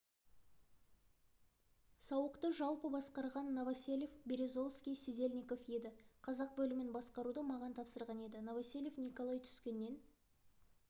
сауықты жалпы басқарған новоселов березовский сидельников еді қазақ бөлімін басқаруды маған тапсырған еді новоселов николай түскеннен